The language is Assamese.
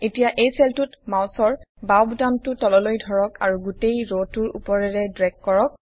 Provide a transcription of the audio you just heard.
এতিয়া এই চেলটোত মাউচৰ বাওঁ বুতামটো তললৈ ধৰক আৰু গোটেই ৰটোৰ উপৰেৰে ড্ৰেগ কৰক